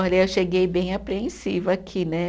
Olha, eu cheguei bem apreensiva aqui, né?